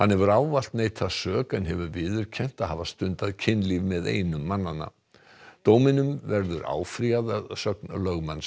hefur ávallt neitað sök en hefur viðurkennt að hafa stundað kynlíf með einum mannanna dóminum verður áfrýjað að sögn lögmanns